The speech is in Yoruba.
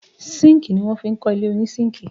Síńkì ní wọ́n fi kọ́ ilé oní síńkì.